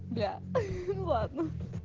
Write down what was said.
бля ну ладно